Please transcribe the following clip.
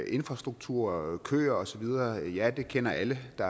infrastruktur køer osv ja det kender alle der